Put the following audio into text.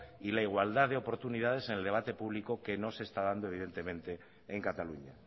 y la igualdad de oportunidad en el debate público que no se está dando evidentemente en cataluña